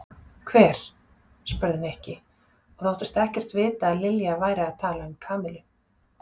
Hver? spurði Nikki og þóttist ekkert vita að Lilja væri að tala um Kamillu.